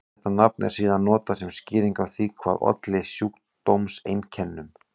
Þetta nafn er síðan notað sem skýring á því hvað olli sjúkdómseinkennunum.